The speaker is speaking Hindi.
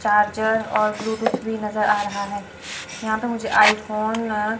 चार्जर और ब्लूटूथ भी नजर आ रहा है यहां पे मुझे आईफोन --